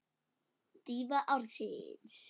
Dýfa ársins?